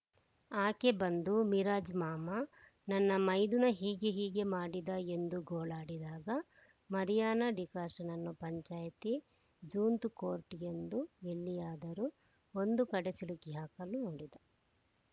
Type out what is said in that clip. ಆಕೆ ಬಂದು ಮಿರಾಜ್ ಮಾಮ ನನ್ನ ಮೈದುನ ಹೀಗೆ ಹೀಗೆ ಮಾಡಿದ ಎಂದು ಗೋಳಾಡಿದಾಗ ಮರಿಯಾಣ ಡಿಕಾಷ್ಟನನ್ನ ಪಂಚಾಯ್ತಿ ಝೂಂತ್‌ ಕೋರ್ಟ ಗೆ ಎಂದು ಎಲ್ಲಿಯಾದರೂ ಒಂದು ಕಡೆ ಸಿಲುಕಿ ಹಾಕಲು ನೋಡಿದ